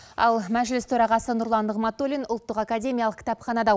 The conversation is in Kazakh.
ал мәжіліс төрағасы нұрлан нығматуллин ұлттық академиялық кітапханада